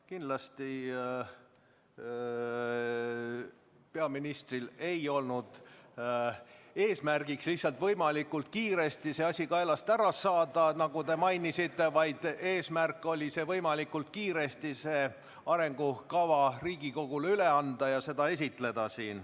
Kindlasti ei olnud peaministri eesmärk lihtsalt võimalikult kiiresti see asi kaelast ära saada, nagu te mainisite, vaid eesmärk oli võimalikult kiiresti see arengukava Riigikogule üle anda ja seda esitleda.